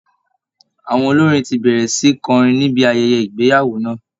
Àwọn olórin ti bẹ̀rẹ̀ sí kọrin níbi ayẹyẹ ìgbeyàwó náà